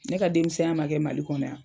Ne ka denmisɛnya ma kɛ Mali kɔnɔ yan.